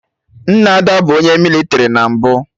Nna Ada bụ onye mịlịtrị na mbụ